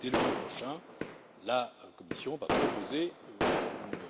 Dès le mois prochain, la Commission va présenter une